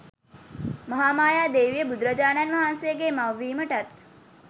මහාමායා දේවිය බුදුරජාණන් වහන්සේගේ මවිවීමටත්